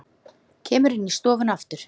Kemur inn í stofuna aftur.